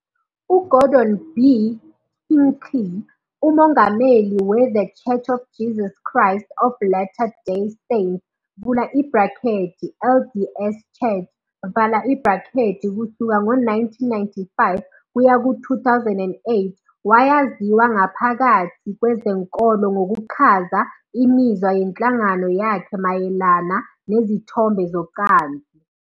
UGordon B. Hinckley, umongameli we- The Church of Jesus Christ of Latter-day Saints, LDS Church, kusuka ngo-1995 kuya ku-2008, wayaziwa ngaphakathi kwezenkolo ngokuchaza imizwa yenhlangano yakhe mayelana nezithombe zocansi.